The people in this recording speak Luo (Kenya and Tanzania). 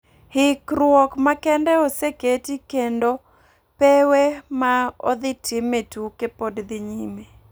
Hikrok makende oseketi keno pewee ma odhi time tuke pod dhi nyime